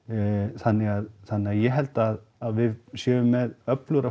þannig að þannig að ég held að við séum með öflugra